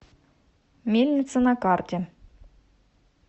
мельница на карте